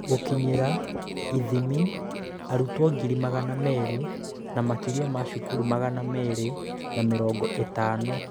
Gũkinyĩra / ithimi: Arutwo ngiri magana meerĩ na makĩria ma cukuru magana merĩ na mĩrongo ĩtano